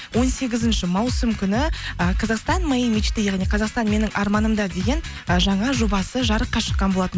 он сегізінші маусым күні ы казахстан моей мечты яғни қазақстан менің арманымда деген ы жаңа жобасы жарыққа шыққан болатын